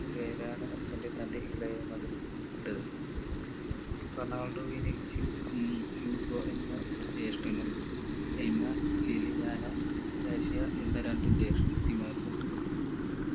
പേരാണ് അച്ഛന് തന്റെ ഇളയ മകന് ഇട്ടത് റൊണാൾഡോവിനു ഹ്യൂഗ് ഉം ഹ്യൂഗോ എന്ന ജേഷ്ഠനും എല്മ ഏലിയാന കാറ്റിയ എന്നീ രണ്ടു ജേഷ്ഠത്തിമാരും ഉണ്ട്